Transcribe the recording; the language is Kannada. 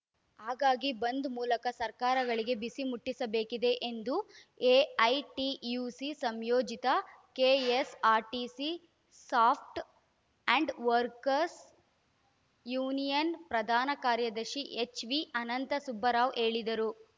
ಹಾಗಾಗಿ ಬಂದ್‌ ಮೂಲಕ ಸರ್ಕಾರಗಳಿಗೆ ಬಿಸಿ ಮುಟ್ಟಿಸಬೇಕಿದೆ ಎಂದು ಎಐಟಿಯುಸಿ ಸಂಯೋಜಿತ KSRTC soft and workers union ಪ್ರಧಾನ ಕಾರ್ಯದರ್ಶಿ ಎಚ್‌ವಿಅನಂತ ಸುಬ್ಬರಾವ್‌ ಹೇಳಿದರು